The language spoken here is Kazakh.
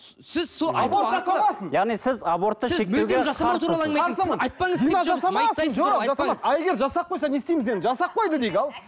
ал егер жасап қойса не істейміз енді жасап қойды дейік ал